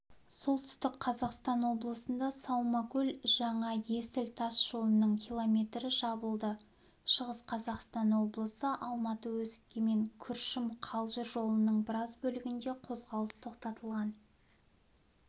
солтүстік қазақстан облысында саумакөл-жаңа есіл тас жолының километрі жабылды шығыс қазақстан облысында алматы-өскемен күршім-қалжыр жолының біраз бөлігінде қозғалыс тоқтатылған